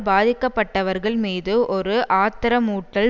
பாதிக்கப்பட்டவர்கள் மீது ஒரு ஆத்திரமூட்டல்